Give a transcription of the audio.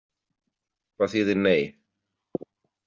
Hvað þýðir nei?